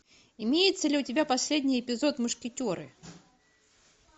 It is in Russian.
имеется ли у тебя последний эпизод мушкетеры